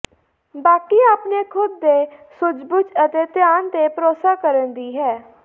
ਬਾਕੀ ਆਪਣੇ ਖੁਦ ਦੇ ਸੂਝਬੂਝ ਅਤੇ ਧਿਆਨ ਤੇ ਭਰੋਸਾ ਕਰਨ ਦੀ ਹੈ